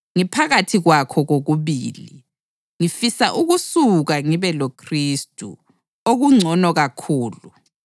Ngiphakathi kwakho kokubili: Ngifisa ukusuka ngibe loKhristu, okungcono kakhulu;